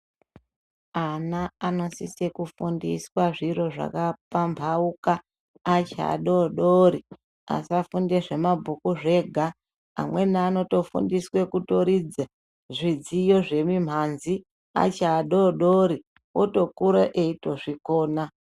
Ana anosise kufundiswa zviro zvakapamhauka achiadodori asafunde zvemabhuku zvega. Amweni anotofundiswe kutoridze zvidziyo zvemimhanzi achiadodori otokure eito zvikona.